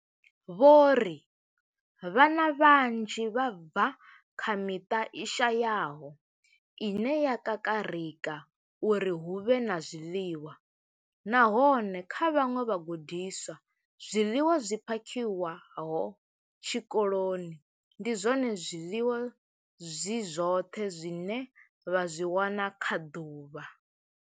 Vho ri Vhana vhanzhi vha bva kha miṱa i shayaho ine ya kakarika uri hu vhe na zwiḽiwa, nahone kha vhaṅwe vhagudiswa, zwiḽiwa zwi phakhiwaho tshikoloni ndi zwone zwiḽiwa zwi zwoṱhe zwine vha zwi wana kha ḓuvha.